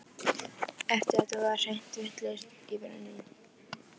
Hann vildi ekki fyrir nokkurn mun missa af samtali afanna.